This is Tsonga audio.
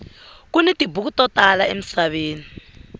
kuni tibuku to tala emisaveni